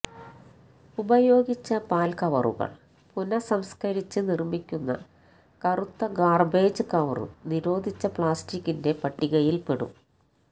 ഉപയോഗിച്ച പാൽ കവറുകൾ പുനഃസംസ്കരിച്ച് നിർമിക്കുന്ന കറുത്ത ഗാർബേജ് കവറും നിരോധിച്ച പ്ലാസ്റ്റികിന്റെ പട്ടികയിൽപ്പെടും